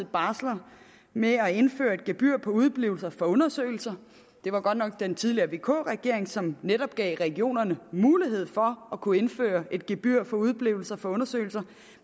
barsler med at indføre et gebyr på udeblivelse fra undersøgelser det var godt nok den tidligere vk regering som netop gav regionerne mulighed for at kunne indføre et gebyr for udeblivelse fra undersøgelser